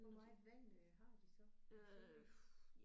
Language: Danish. Hvor meget vand øh har de så i bassinet?